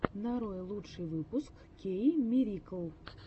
нарой лучший выпуск кеиммирикл